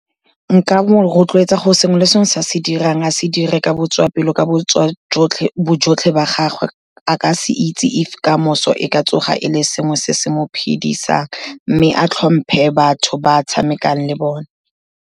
Nka mo rotloetsa gore sengwe le sengwe se a se dirang, a se dire ka botswapelo ka bojotlhe ba gagwe, a ka se itse if kamoso e ka tsoga e le sengwe se se mo phidisang, mme a tlhomphe batho ba tshamekang le bone.